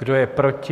Kdo je proti?